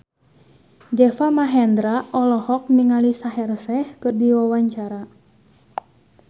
Deva Mahendra olohok ningali Shaheer Sheikh keur diwawancara